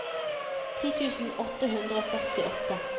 ti tusen åtte hundre og førtiåtte